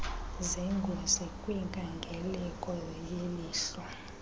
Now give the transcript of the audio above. zengozi kwinkangeleko yelihlo